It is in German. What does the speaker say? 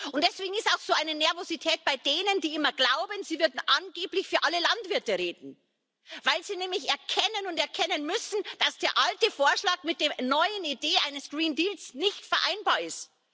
Und deswegen ist auch so eine Nervosität bei denen, die immer glauben, sie würden angeblich für alle Landwirte reden, weil sie nämlich erkennen und erkennen müssen, dass der alte Vorschlag mit der neuen Idee eines nicht vereinbar ist.